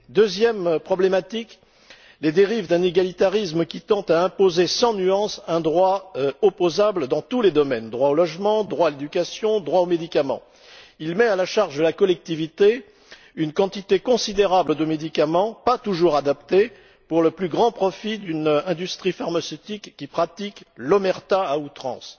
Deuxième problématique les dérives d'un égalitarisme qui tend à imposer sans nuance un droit opposable dans tous les domaines droit au logement, à l'éducation et aux médicaments. Il met à la charge de la collectivité une quantité considérable de médicaments pas toujours adaptés pour le plus grand profit d'une industrie pharmaceutique qui pratique l'omerta à outrance.